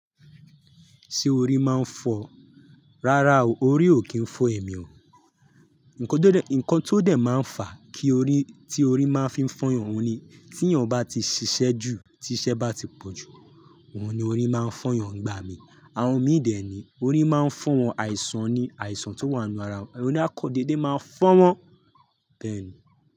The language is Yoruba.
Ṣé orí má ń fọ́ o? Rárá o, orí ò kí ń fọ́ èmi o. Nǹkan tó dẹ̀ máa ń fà kí orí, tí orí máa ń fi fọ́yàn o ni tí èèyàn bá ti ṣiṣẹ́ jù, tí iṣẹ́ bá ti pọ̀jù, òun ni orí máa ń fọ́yàn ngba mi. Àwọn omí dè é ni, orí máa ń fọ́ wọn, àìsàn ni, àìsàn tó wà nínú ara wọn. Orí akọ dédé máa ń fọ́ wọn bẹ́ẹ̀ ni.